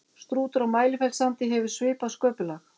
strútur á mælifellssandi hefur svipað sköpulag